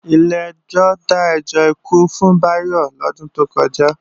Ilé ẹjọ́ dájọ́ ikú fún Bayo lodun to koja